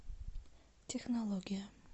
технология